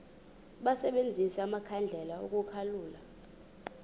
basebenzise amakhandlela ukukhulula